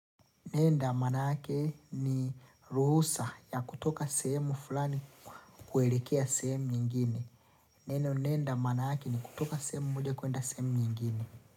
Nenda maanake ni ruhusa ya kutoka sehemu fulani kuelekea sehemu nyingine. Neno nenda maanake ni kutoka sehemu moja kwenda sehemu nyingine.